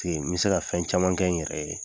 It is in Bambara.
n bɛ se ka fɛn caman kɛ n yɛrɛ ye.